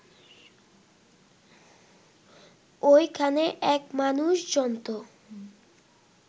ওইখানে এক মানুষ-জন্তু